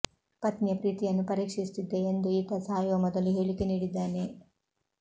ಪತ್ನಿಯ ಪ್ರೀತಿಯನ್ನು ಪರೀಕ್ಷಿಸುತ್ತಿದ್ದೆ ಎಂದು ಈತ ಸಾಯುವ ಮೊದಲು ಹೇಳಿಕೆ ನೀಡಿದ್ದಾನೆ